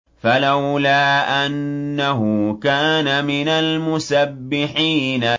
فَلَوْلَا أَنَّهُ كَانَ مِنَ الْمُسَبِّحِينَ